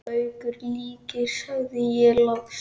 Gaukur líkir, sagði ég loks.